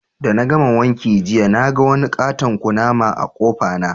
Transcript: De na gama wanka jiya ,na gan wani ƙaton ƙunama a'kofa na.